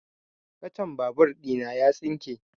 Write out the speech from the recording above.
Kacan babur ɗina ya tsinke